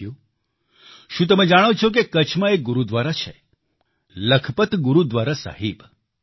સાથીઓ શું તમે જાણો છો કે કચ્છમાં એક ગુરુદ્વારા છે લખપત ગુરુદ્વારા સાહિબ